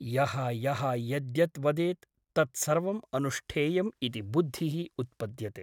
यः यः यद्यत् वदेत् तत्सर्वम् अनुष्ठेयम् इति बुद्धिः उत्पद्यते ।